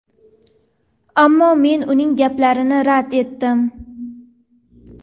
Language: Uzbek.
Ammo men uning gaplarini rad etdim.